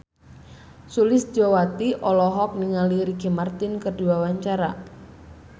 Sulistyowati olohok ningali Ricky Martin keur diwawancara